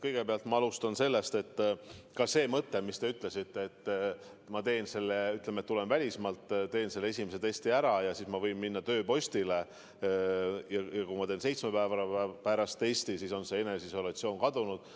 Kõigepealt ma alustan sellest, mis te ütlesite, et kui ma tulen välismaalt ja teen selle esimese testi ära, siis ma võin minna tööpostile ja kui ma teen seitsme päeva pärast uue testi, siis on eneseisolatsiooni nõue kadunud.